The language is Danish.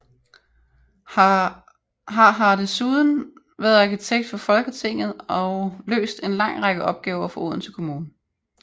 Har har desuden været arkitekt for Folketinget og løst en lang række opgaver for Odense Kommune